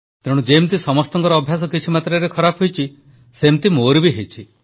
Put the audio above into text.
ତେଣୁ ଯେମିତି ସମସ୍ତଙ୍କ ଅଭ୍ୟାସ କିଛି ମାତ୍ରାରେ ଖରାପ ହୋଇଛି ସେମିତି ମୋର ବି ହେଇଛି